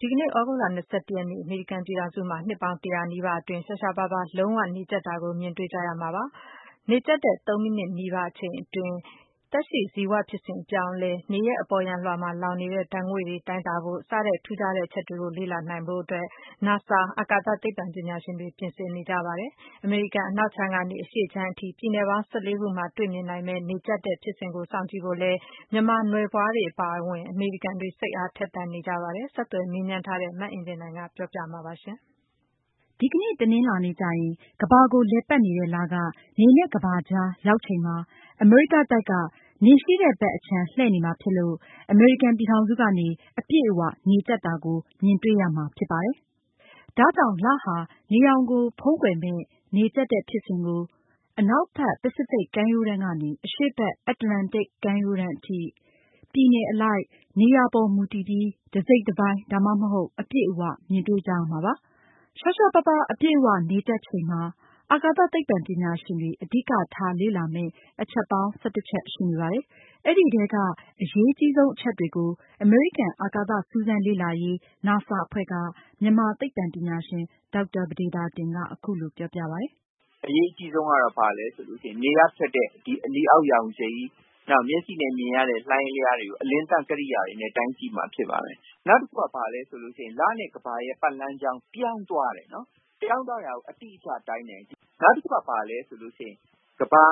ဒီကနေ့ သြဂုတ်လ ရက်နေ့ အမေရိကန်ပြည်ထောင်စုမှာ နှစ်ပေါင်း ၁၀၀ နီးပါးအတွင်း ရှားရှားပါးပါး လုံးဝနေကြတ်တာကို မြင်တွေ့ကြရမှာဖြစ်ပါတယ်။ နေကြတ်တဲ့ ၃ မိနစ်နီးပါး အချိန်အတွင်း သက်ရှိဇီဝဖြစ်စဉ်အပြောင်းအလဲ၊ နေရဲ့အပေါ်ယံအလွှာမှာ လောင်နေတဲ့ ဓါတ်ငွေ့တွေတိုင်းတာဖို့စတဲ့ ထူးခြားတဲ့ အချက်တွေကို လေ့လာနိုင်ဖို့အတွက် NASA အကာသသိပ္ပံပညာရှင်တွေ ပြင်ဆင်နေကြပါတယ်။ အမေရိကန်အနောက်ခြမ်းကနေ အရှေ့ခြမ်းအထိ ပြည်နယ် ၁၄ ခုမှာ တေ့ွမြင်နိုင်မယ့် နေကြပ်တဲ့ဖြစ်စဉ်ကို စောင့်ကြည့်ဖို့အတွက်လည်း မြန်မာနွယ်ဖွားတွေအပါအဝင် အမေရိကန်တွေ စိတ်အားထက်သန်နေကြပါတယ်။ ဆက်သွယ်မေးမြန်းထားတဲ့ မအင်ကြင်းနိုင်က အပြည့်အစုံကို ဆက်ပြီးတင်ပြမှာပါ။ ဒီကနေ့ တနင်္လာနေ့ကျရင် ကမ္ဘာကို လည်ပတ်နေတဲ့ လက နေနဲ့ ကမ္ဘာကြားရောက်ချိန်မှာ အမေရိကတိုက်က နေရှိတဲ့ဖက် အခြမ်းလှည့်နေမှာဖြစ်လို့ အမေရိကန်ပြည်ထောင်စုကနေ အပြည့်အဝနေကြပ်တာကို မြင်တေ့ွရမှာဖြစ်ပါတယ်။ ဒါကြောင့် လဟာ နေရောင်ကို ဖုံးကွယ်မယ့် နေကြတ်တဲ့ဖြစ်စဉ်ကို အနောက်ဘက် ပစိဖိတ် ကမ်းရိုးတန်းကနေ အရှေ့ဘက် အတ္တလန်တိတ် ကမ်းရိုးတန်းအထိ ပြည်နယ်အလိုက် နေရာပေါ်မူတည်ပြီး တစိတ်တပိုင်း ဒါမှမဟုတ် အပြည့်အ၀ မြင်တွေ့ကြရမှာဖြစ်ပါတယ်။ ရှားရှားပါးပါး အပြည့်အဝနေကြတ်ချိန်မှာ အာကာသ သိပ္ပံပညာရှင်တွေ အဓိကထား လေ့လာမယ့် အချက်ပေါင်း ၁၁ ချက်ရှိပါတယ်။ အဲဒီထဲက အရေးကြီးဆုံးအချက်တွေကို အမေရိကန် အာကာသ စူးစမ်းလေ့လာရေး NASA အဖွဲ့က မြန်မာသိပ္ပံပညာရှင် ဒေါက်တာ ပဒေသာတင်က အခုလိုပြောပြပါတယ်။ “အရေးအကြီးဆုံးကတော့ ဘာလဲဆိုရင် နေကထွက်တဲ့ အနီအောက်ရောင်ခြည် ၊ နောက်မျက်စိနဲ့ မြင်ရတဲ့ လှိုင်းအလျားတွေကို ကရိယာတွေနဲ့ တိုင်းကြည့်မှာဖြစ်ပါတယ်။ နောက်တခုက ဘာလဲဆိုရင် လနဲ့ ကမ္ဘာရဲ့ ပတ်လမ်းကြောင်း ပြောင်းသွားတယ်၊ ပြောင်းသွားတာကို အတိအကျတိုင်းမယ်၊ နောက်တခုက ဘာလဲဆိုရင် ကမ္ဘာ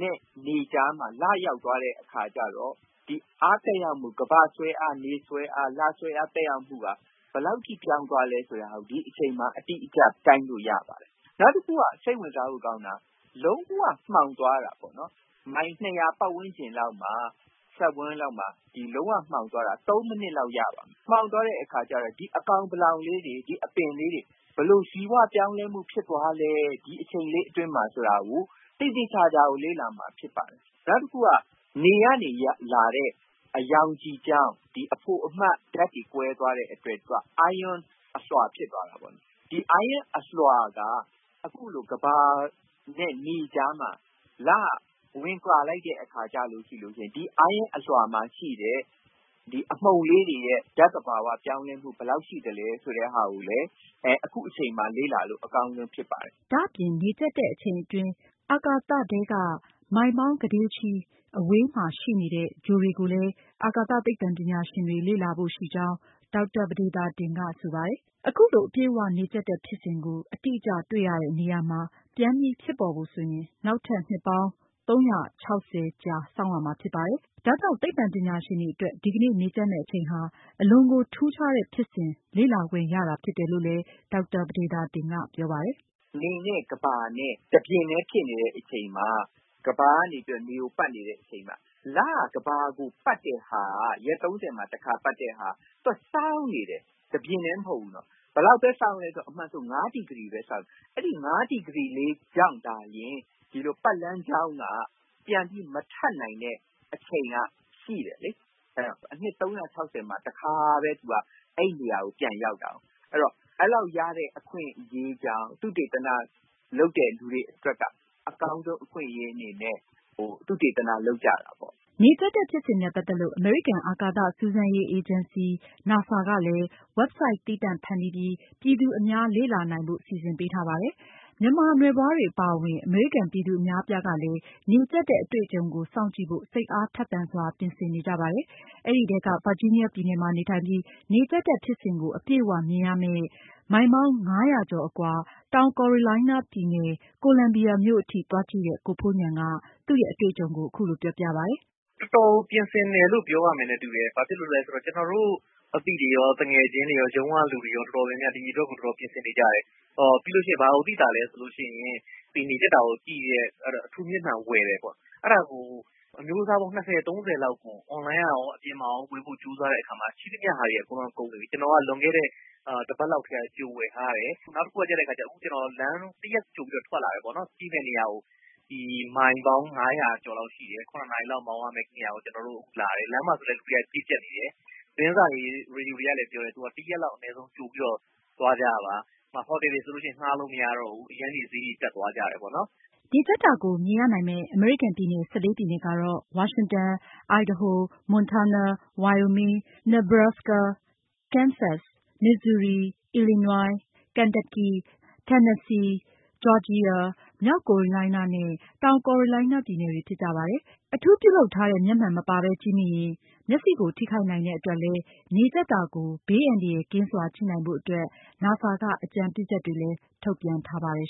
နဲ့ နေကြားမှာ လရောက်သွားတဲ့အခါကျတော့ ဒီအားသက်ရောက်မှု ကမ္ဘာ့ဆွဲအား၊ နေဆွဲအား၊ လဆွဲအား သက်ရောက်မှုက ဘယ်လောက်အထိပြောင်းသွားလဲဆိုတာ ဒီအချိန်မှာ အတိအကျတိုင်းလို့ရပါတယ်။ နောက်တခုက စိတ်ဝင်စားဖို့ကောင်းတာက လုံးဝမှောင်သွားတာပေါ့နော်။ မိုင်၂၀၀ ပတ်ဝန်းကျင် စက်ဝန်း လောက်မှာ လုံးဝမှောင်သွားတာ ၃ မိနစ်လောက်။ မှောင်သွားတဲ့အခါကျတော့ ဒီအကောင်ပလောင်လေးတွေ ဘယ်လိုဇီဝပြောင်းလဲမှု ဖြစ်သွားလဲ ဒီအချိန်လေးအတွင်းမှာဆိုတာကို သေသေချာချာလေ့လာမှာဖြစ်ပါတယ်။ နောက်တခုက နေကနေလာတဲ့ ရောင်ခြည်ကြောင့် ဒီအဖိုအမဓါတ်တွေကွဲသွားတဲ့အတွက် သူက Iron အလွှာဖြစ်သွားတာပေါ့နော် ။ ဒီ Ironအလွှာက အခုလို ကမ္ဘာနဲ့ နေကြားမှာ လကဝင်ပါလိုက်တဲ့အခါကျတော့ ဒီ Ironအလွှာမှာရှိတဲ့ အမှုန်လေးတွေရဲ့ ဓါတ်သဘာဝပြောင်းလဲမှု ဘယ်လောက်ရှိသလဲ ဆိုတာကိုလည်း အခုအချိန်မှာ လေ့လာလို့ အကြောင်းဆုံးဖြစ်ပါတယ်။” ဒါအပြင် နေကြတ်တဲ့အချိန်အတွင်း အာကာသထဲက မိုင်ပေါင်း ကုဋေ့ချီအဝေးမှာရှိတဲ့ ဂြိုလ်တွေကိုလည်း အာကာသသိပ္ပံပညာရှင်တွေလေ့လာဖို့ ရှိကြောင်း ဒေါက်တာပဒေသာတင်ကဆိုပါတယ်။ အခုလို အပြည့်အဝနေကြတ်တဲ့ ဖြစ်စဉ်ကို အတိအကျတွေ့ရတဲ့ နေရာမှာ ပြန်ပြီး ဖြစ်ပေါ်ဖို့ဆိုရင် နောက်ထပ် နှစ်ပေါင်း ၃၆၀ ကြာစောင့်ရမှာဖြစ်ပါတယ်။ ဒါကြောင့် သိပ္ပံပညာရှင်တွေအတွက် ဒီကနေ့ နေကြတ်မယ့်အချိန်ဟာ အလွန်ကို ထူးခြားတဲ့ ဖြစ်စဉ်ကို လေ့လာခွင့်ရတာဖြစ်တယ်လို့လည်း ဒေါက်တာပဒေသာတင်က ပြောပါတယ်။ “နေနဲ့ကမ္ဘာနဲ့ တပြင်ထဲဖြစ်နေတဲ့အချိန်မှာ ကမ္ဘာကနေပြီးတော့ နေကိုပတ်နေတဲ့အချိန်မှာ လက ကမ္ဘာကိုပတ်တဲ့ဟာက ရက်၃၀ မှာ တခါပတ်တဲ့ဟာက သူကစောင်းနေတယ် တပြင်ထဲမဟုတ်ဘူးနော်။ ဘယ်လောက်ပဲစောင်းသလဲဆိုတော့ အမှန်ဆို ၅ ဒီဂရီပဲစောင်းတယ်။ အဲဒီ ၅ ဒီဂရီလေးကြောင့်သာလျှင် ဒီလိုပတ်လမ်းကြောင်းက မထပ်နိုင်တဲ့ အချိန်ကရှိတယ်လေ။ အဲဒီတော့ အနှစ် ၃၆၀ မှာ တခါပဲ သူက အဲဒီနေရာကို ပြန်ရောက်တာကို ။ ဆိုတော့ အဲဒီလောက်ရတဲ့အခွင့်အရေးကြောင့် သုတေသန လုပ်တဲ့လူတွေအတွက်က အကောင်းဆုံးအခွင့်အရေးအနေနဲ့ သုတေသန လုပ်ကြတာပေါ့။” နေကြတ်တဲ့ဖြစ်စဉ်နဲ့ပတ်သက်လို့ အမေရိကန်အာကာသစူးစမ်းရေးအေဂျင်စီ NASA ကလည်း Website သီးသန့်ဖန်တီးပြီး ပြည်သူအများလေ့လာနိုင်ဖို့ စီစဉ်ပေးထားပါတယ်။ မြန်မာနွယ်ဘွားတွေအပါအဝင် အမေရိကန်ပြည်သူအများအပြားကလည်းနေကြပ်တဲ့ အတေ့ွအကြုံကို စောင့်ကြည့်ဖို့ စိတ်အားသန်စွာပြင်ဆင်နေကြပါတယ်။ အဲဒီထဲက ဗာဂျီးနီးယားပြည်နယ်မှာနေထိုင်ပြီး နေကြတ်တဲ့ ဖြစ်စဉ်ကို အပြည့်အ၀ မြင်ရမယ့် မိုင်ပေါင်း ၅၀၀ ကျော်အကွာ တောင်ကိုရိုလိုင်းနားပြည်နယ် ကိုလံဘီယာမြို့အထိသွားကြည့်တဲ့ ကိုဖိုးဉာဏ်က သူရဲ့အတွေ့အကြုံကို အခုလိုပြောပြပါတယ်။ “တော်တော်ကို ပြင်ဆင်တယ်လို့ ပြောရမယ်နဲ့ တူတယ်။ ဘာဖြစ်လို့လဲဆိုတော့ ကျနော်တို့ အသိတွေရော ၊ သူငယ်ချင်းတွေရော၊ ရုံးကလူတွေရော ဒီအတွက်ကိုတော်တော်များများပြင်ဆင်နေကြတယ်။ ပြီးလို့ရှိရင် ဘာသိသာသလဲဆိုတော့ ဒီနေကြတ်တာကို ကြည့်တဲ့ အထူးမျက်မှန်ဝယ်တယ်ပေါ့နော် အဲဒါကို အမျိုးအစားပေါင်း ၂၀ -၃၀ လောက်ကို Online ကရော၊ အပြင်ကရော ဝယ်ဖို့ကြိုးစားတဲ့အခါမှာ ရှိသမျှဟာတွေက ကုန်နေပြီ။ ကျနော်က လွန်ခဲ့တဲ့ တပတ်လောက်က ကြိုဝယ်ထားတယ်။ နောက်တခုကျတော့ ကျနော်လမ်း ၁ ရက်ကြိုပြီးတော့ ထွက်လာတယ်ပေါ့နော်၊ ကြည့်မယ့်နေရာကို မိုင်ပေါင်း ၅၀၀ ကျော်လောက်ရှိတယ်။ ၇ နာရီလောက်မောင်းရမယ့်နေရာကို ကျနော်တို့လာတယ်၊ လမ်းမှာဆိုရင်လည်း လူတွေက ပြည့်ကျပ်နေတယ်၊ သတင်းစာတွေ ရေဒီယိုတွေကလည်းပြောတယ်။ ၁ ရက်လောက်ကြိုပြီးတော့ သွားကြပါ။ ဟိုတယ်တွေဆိုရင်လည်း ဌားလို့မရတော့ဘူး ဈေးအရမ်းတက်သွားတယ်ပေါ့နော်။” နေကြတ်တာကို မြင်ရနိုင်မယ့် အမေရိကန်ပြည်နယ် ၁၄ ပြည်နယ်ကတော့ ဝါရှင်တန်၊ Idaho၊ Montana၊ Wyoming ၊ Nebraska ၊ Kansas၊ Missouri ၊ Illinois ၊ Kentucky ၊ Tennessee ၊ Georgia ၊ မြောက်ကိုရိုလိုင်းနားနဲ့ တောင်ကိုရိုလိုင်းနားပြည်နယ်တွေဖြစ်ကြပါတယ်။ အထူးပြုလုပ်ထားတဲ့ မျက်မှန်မပါဘဲကြည့်မိရင် မျက်စိကို ထိခိုက်နိုင်တဲ့အတွက် နေကြပ်တာကို ဘေးအန္တရာယ်ကင်းစွာကြည့်နိုင်ဖို့အတွက် NASA က အကြံပြုချက်တွေလည်း ထုတ်ပြန်ထားပါတယ်